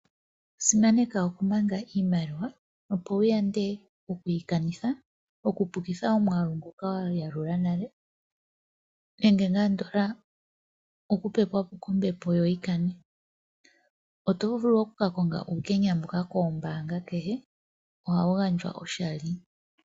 Simaneka okumanga iimaliwa, opo wu yande oku yi kanitha, oku pukitha omwaalu ngoka wa yalula nale, nenge ngaa andola oku pepwapo kombepo yo yi kane. Oto vulu okuka konga uukenya mboka koombaanga kehe ohawu gandjwa oshali.